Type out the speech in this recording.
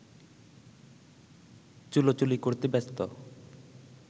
চুলোচুলি করতে ব্যস্ত